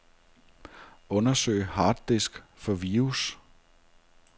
Undersøg harddisk for virus.